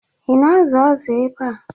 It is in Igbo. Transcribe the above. Ị na-azụ azụ ebe a?